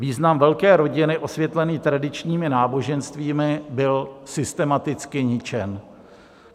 Význam velké rodiny osvětlený tradičními náboženstvími byl systematicky ničen.